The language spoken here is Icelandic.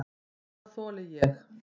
Hvað þoli ég?